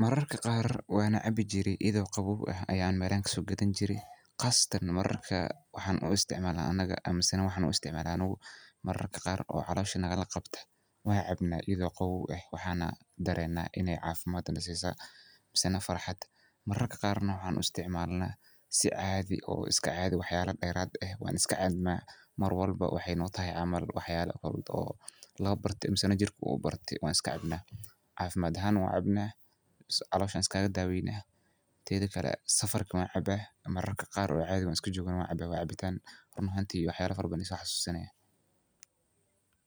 Mararka qaar wana caabi jire, iyido qabow ah ayan melahan kaso gadan jirec, qaasatan mararka waxan u isticmaala anaga mise waxan u usticmaala anigu mararka qaar oo calosha naga qabto ,wan cabna ayado qabow eh waxana dareena inay caafimad naasisa mise farxad. mararka qar na waxan u isticmaalna si caadi oo iska caadi waxba dheerad eh wan iska cabna Mar walbo maxay noo tahay waxba camal oo loo barte masana jirku uu ubarte, wan iska cabna, caafimad ahan na wan ucabna mise calosh an iskaga daaweyna, teedi kale safarka wan cabaa mararka qar on isja jogo na wan cabaa, waa caabitan. run ahanti waxyaba fara uu iso xasuusini haya